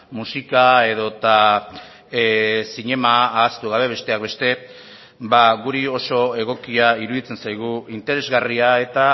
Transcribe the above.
musika edota zinema ahaztu gabe besteak beste ba guri oso egokia iruditzen zaigu interesgarria eta